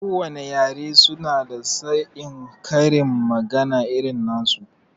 Ko wane yare su na da saon karin magana irin nasu